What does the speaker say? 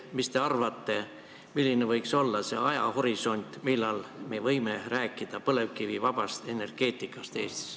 Mis te arvate, milline võiks olla see ajahorisont, millal me võime hakata rääkima põlevkivivabast energeetikast Eestis?